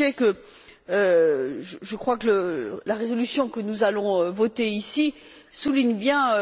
Becsey que, selon moi, la résolution que nous allons voter ici souligne bien